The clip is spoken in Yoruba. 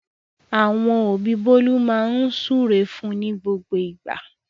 Àwọn òbí Bólú máa ń súre fún ní gbogbo ìgbà.